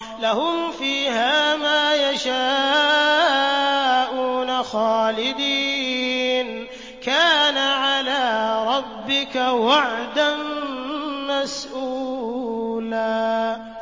لَّهُمْ فِيهَا مَا يَشَاءُونَ خَالِدِينَ ۚ كَانَ عَلَىٰ رَبِّكَ وَعْدًا مَّسْئُولًا